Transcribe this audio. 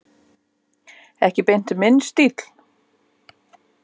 Ekki beint minn stíll.